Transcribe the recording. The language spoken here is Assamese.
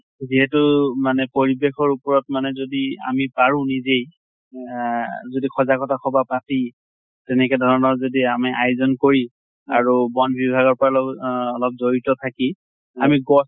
যিহেতু মানে পৰিবেশৰ ওপৰত মানে যদি আমি পাৰো নিজে না যদি সজাগতে সভা পাতি তেনেকা ধৰণৰ যদি আমি আয়োজন কৰি আৰু বন বিভাগৰ অহ অলপ জড়িত থাকি আমি গছ